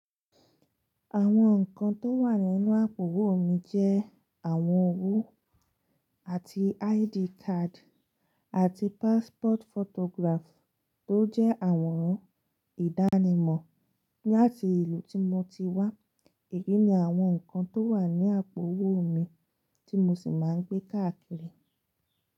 Àwọn nǹkan tó wà nínú àpò owó mi jẹ́ àwọn owó àti ID card àti passport photograph tó jẹ́ àwòrán ìdánimọ̀ ní àti ìlú tí mo ti wá. Èyí ni àwọn nǹkan tó wà ní àpò owó mi tí mo sì máa ń gbé káàkiri.